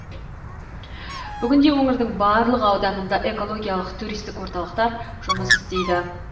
бүгінде өңірдің барлық ауданында экологиялық туристік орталықтар жұмыс істейді